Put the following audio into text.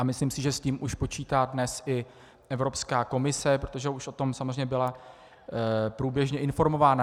A myslím si, že s tím už počítá dnes i Evropská komise, protože už o tom samozřejmě byla průběžně informována.